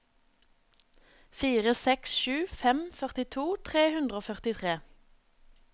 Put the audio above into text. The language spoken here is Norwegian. fire seks sju fem førtito tre hundre og førtitre